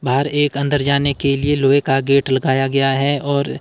बाहर एक अंदर जाने के लिए लोहे का गेट लगाया गया है और--